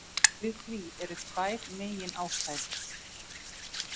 Fyrir því eru tvær meginástæður.